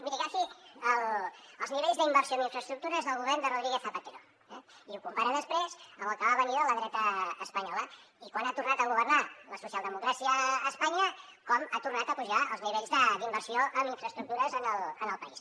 miri agafi els nivells d’inversió en infraestructures del govern de rodríguez zapatero eh i ho compara després amb el que va venir de la dreta espanyola i quan ha tornat a governar la socialdemocràcia a espanya com han tornat a pujar els nivells d’inversió en infraestructures en el país